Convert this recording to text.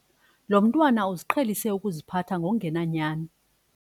Lo mntwana uziqhelise ukuziphatha ngokungenanyani.